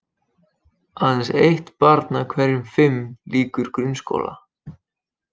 Aðeins eitt barn af hverjum fimm lýkur grunnskóla.